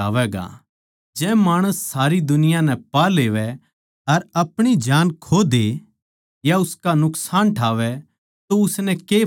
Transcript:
जै माणस सारी दुनिया नै पा लेवै अर अपणी जान खो दे या उसका नुकसान ठावै तो उसनै के फायदा